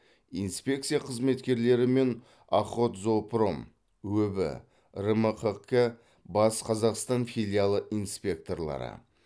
инспекция қызметкерлері мен охотзоопром өб рмқк батыс қазақстан филиалы инспекторлары